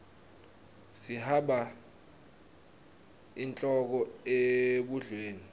sihaba inhloko ebhudlweni